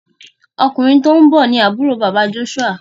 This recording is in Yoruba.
Ọkùnrin tíó nbó ní Àbúrò bàbá Joshua.